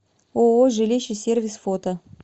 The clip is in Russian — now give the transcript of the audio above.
ооо жилище сервис фото